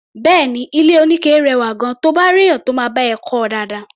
Bẹ́ẹ̀ni, ilé-oníke rẹwà gan-an, to bá réèyàn tó máa bá ẹ kọ́ ọ dáadáa.